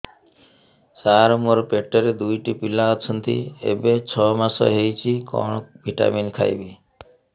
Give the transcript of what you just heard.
ସାର ମୋର ପେଟରେ ଦୁଇଟି ପିଲା ଅଛନ୍ତି ଏବେ ଛଅ ମାସ ହେଇଛି କଣ ଭିଟାମିନ ଖାଇବି